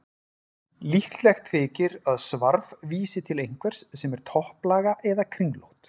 Líklegt þykir að svarf vísi til einhvers sem er topplaga eða kringlótt.